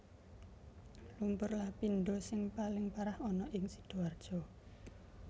Lumpur Lapindosing paling parah ana ning Sidoarjo